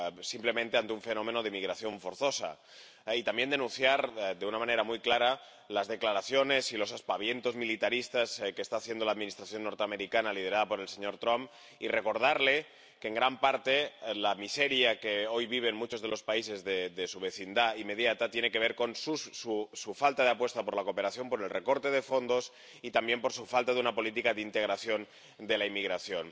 simplemente ante un fenómeno de migración forzosa— y, de una manera muy clara, las declaraciones y los aspavientos militaristas que está haciendo la Administración norteamericana liderada por el señor Trump y recordarle que, en gran parte, la miseria que hoy viven muchos de los países de su vecindad inmediata tiene que ver con su falta de apuesta por la cooperación, por el recorte de fondos y por su falta de una política de integración de la inmigración.